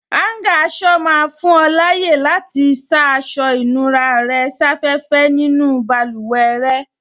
Áúngà aṣọ máa fún ọ láyè àti sá aṣọ ìnura rẹ̀ sáfẹ́fẹ́ nínú báluwẹ̀ rẹ